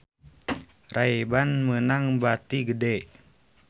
Ray Ban meunang bati gede